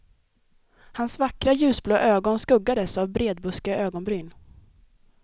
Hans vackra ljusblå ögon skuggades av bredbuskiga ögonbryn.